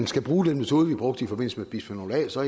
skal bruge den metode vi brugte i forbindelse med bisfenol a så